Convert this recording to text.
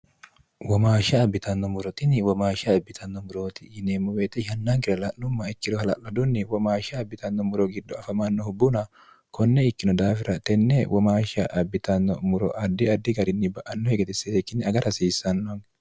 womaashsha abbitanno murotini womaashsha abbitanno murooti yineemmo weete yannaankire la'lumma ikkiro hala'lodunni womaashsha abbitanno muro giddo afamannohu buna konne ikkino daafira tenne womaashsha abbitanno muro addi addi garinni ba anno higetisseteikkinne agara hasiissannonni